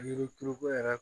Yiri turuko yɛrɛ